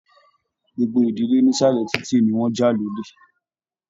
Gbogbo ìdílé nísàlẹ̀ titi ní wọn já lólè m